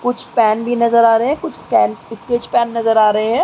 कुछ पेन भी नजर आ रहे है। कुछ स्कें स्केच पेन नजर आ रहे हैं।